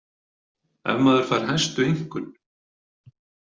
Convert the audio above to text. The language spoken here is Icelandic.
Ef maður fær hæstu einkunn.